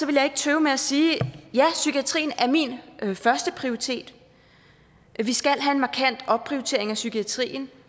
jeg ikke tøve med at sige ja psykiatrien er min førsteprioritet vi skal have en markant opprioritering af psykiatrien